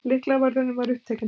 Lyklavörðurinn var upptekinn.